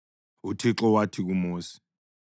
UThixo wathi kuMosi,